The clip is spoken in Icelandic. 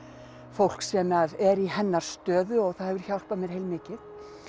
fólk sem er í hennar stöðu og það hefur hjálpað mér heilmikið